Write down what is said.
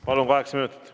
Palun, kaheksa minutit!